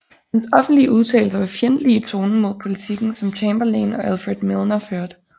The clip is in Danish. Hans offentlige udtalelser var fjendtlige i tonen mod politikken som Chamberlain og Alfred Milner førte